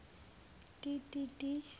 ti ti ti